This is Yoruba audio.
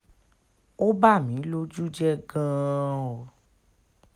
ó bà mí lójú jẹ́ gan-an o